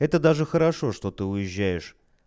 это даже хорошо что ты уезжаешь